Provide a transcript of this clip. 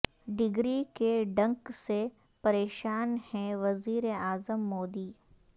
degree کے ڈنک سے پریشان ہیں وزیر اعظم مودی